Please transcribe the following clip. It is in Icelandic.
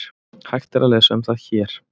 Hægt er að lesa um það HÉR.